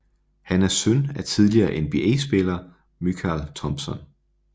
Han er søn af tidligere NBA spiller Mychal Thompson